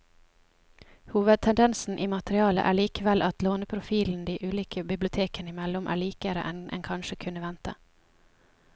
Hovedtendensen i materialet er likevel at låneprofilen de ulike bibliotekene imellom er likere enn en kanskje kunne vente.